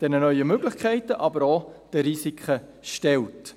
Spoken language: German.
den neuen Möglichkeiten, aber auch den Risiken stellt.